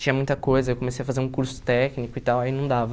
Tinha muita coisa, eu comecei a fazer um curso técnico e tal, aí não dava.